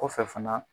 Kɔfɛ fana